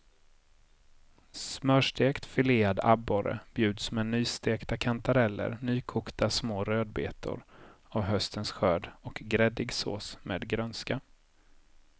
Smörstekt filead abborre bjuds med nystekta kantareller, nykokta små rödbetor av höstens skörd och gräddig sås med grönska.